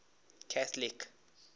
catholic